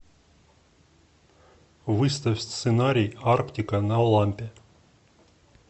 выставь сценарий арктика на лампе